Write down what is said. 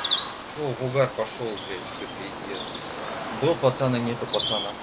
что в угар пошёл бялть все пиздец был пацан и нет пацана